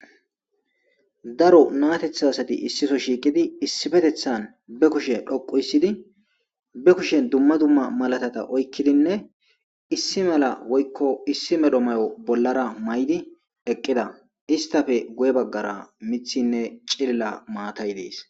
Daro naato asati issipe shiqidi be kushe dhoqi histidi be kushen duma duma malatata oykidi issi mayo bolla mayidi eqida istape guye bagara mithine cillila matay dees